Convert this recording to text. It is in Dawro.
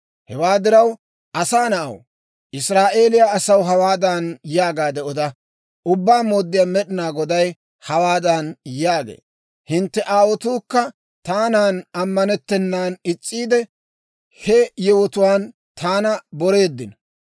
«Hewaa diraw, asaa na'aw, Israa'eeliyaa asaw hawaadan yaagaade oda; ‹Ubbaa Mooddiyaa Med'inaa Goday hawaadan yaagee; hintte aawotuukka taanan ammanettennan is's'iide, he yewotuwaan taana boreeddino.